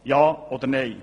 Ja oder nein?